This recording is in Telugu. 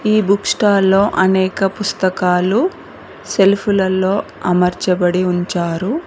ఈ బుక్ స్టాల్లో అనేక పుస్తకాలు సెల్ఫ్ లలో అమర్చబడి ఉంచారు.